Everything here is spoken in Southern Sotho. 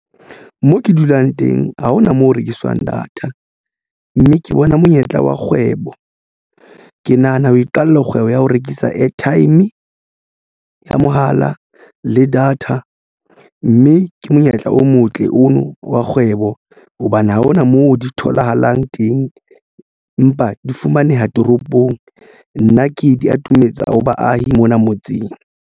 Mo ke dulang teng ha hona moo ho rekiswang data mme ke bona monyetla wa kgwebo ke nahana ho iqalla kgwebo ya ho rekisa airtime ya mohala le data mme ke monyetla o motle ono wa kgwebo hobane ha hona moo di tholahalang teng empa di fumaneha toropong nna ke di atometsa ho baahi mona motseng.